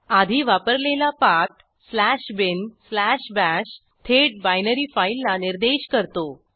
आधी वापरलेला पाथ binbash थेट बायनरी फाईलला निर्देश करतो